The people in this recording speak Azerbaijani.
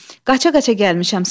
Qaça-qaça gəlmişəm.